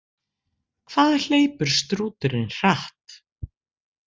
Hvað hleypur strúturinn hratt?